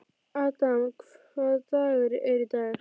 Adam, hvaða dagur er í dag?